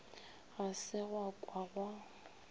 ga se gwa ka gwa